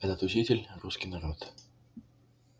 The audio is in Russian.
этот учитель русский народ